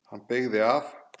Hann beygði af.